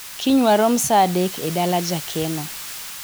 kiny warom saa adek e dala jakeno